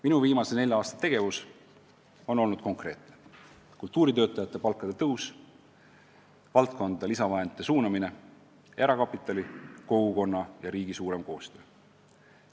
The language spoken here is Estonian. Minu viimase nelja aasta tegevus on olnud konkreetne: kultuuritöötajate palkade tõus, valdkonda lisavahendite suunamine, erakapitali, kogukonna ja riigi suurem koostöö.